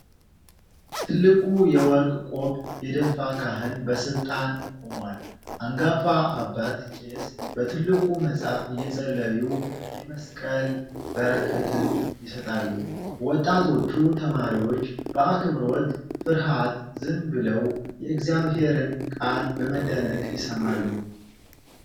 ትልቅ የወርቅ ቆብ የደፋ ካህን በሥልጣን ቆሟል። አንጋፋ አባት ቄስ በትልቁ መጽሐፍ እየጸለዩ የመስቀል በረከትን ይሰጣሉ። ወጣቶቹ ተማሪዎች በአክብሮት ፍርሃት ዝም ብለው የእግዚአብሔርን ቃል በመደነቅ ይሰማሉ።